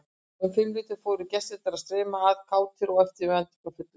Og um fimmleytið fóru gestirnir að streyma að, kátir og eftirvæntingarfullir.